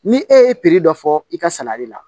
Ni e ye dɔ fɔ i ka sanni la